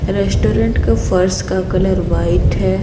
Restaurant का फर्श का कलर वाइट है।